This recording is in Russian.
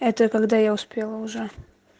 это когда я успела уже